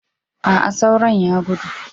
A'a, sauron ya gudu.